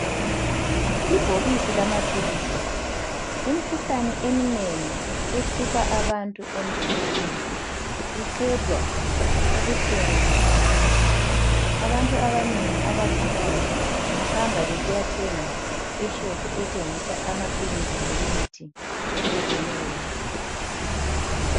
Ibhokisi lamaphilisi, imikhuhlane eminengi ehlupha abantu emzimbeni iqedwa ubuhlungu ngamaphilisi. Abantu abanengi abagulayo bahamba besiyathenga eshop ethengisa amaphilisi lemithi ehlukeneyo.